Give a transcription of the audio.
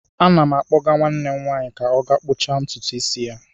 Ana m akpọga nwanne m nwanyị ka ọ gaa kpụcha ntutu isi ya.